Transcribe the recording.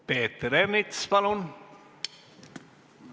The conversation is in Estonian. Peeter Ernits, palun!